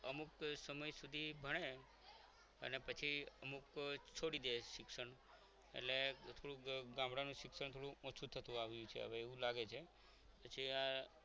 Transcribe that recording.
અમુક સમય સુધી ભણે અને પછી અમુક છોડી દે શિક્ષણ એટલે થોડુંક ગામડાનું શિક્ષણ થોડું ઓછું થતું આવ્યું છે હવે એવું લાગે છે પછી